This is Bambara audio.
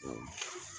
Sanunɛgɛnin yo wa